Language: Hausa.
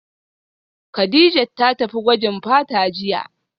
Kadijat ta tafi gwajin fata jiya